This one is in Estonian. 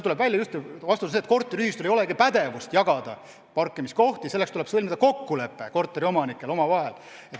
Tegelikult korteriühistul ei olegi pädevust jagada parkimiskohti, selleks tuleb sõlmida kokkulepe korteriomanikel omavahel.